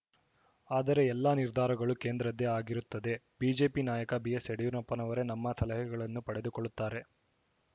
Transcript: ಆದರೆ ಎಲ್ಲ ನಿರ್ಧಾರಗಳು ಕೇಂದ್ರದ್ದೇ ಆಗಿರುತ್ತದೆ ಬಿಜೆಪಿ ನಾಯಕ ಬಿಎಸ್‌ಯಡಿಯೂರಪ್ಪನವರೇ ನಮ್ಮ ಸಲಹೆಗಳನ್ನು ಪಡೆದುಕೊಳ್ಳುತ್ತಾರೆ